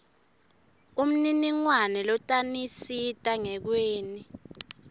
umniningwane lotanisita ngekweni